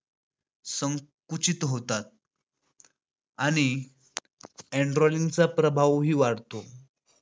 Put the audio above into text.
संकुचित होतात, आणि andraline चा प्रवाह वाढतो.